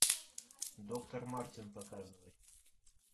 доктор мартин показывай